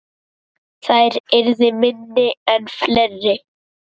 Þær yrðu minni en fleiri.